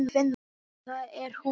Það er hún!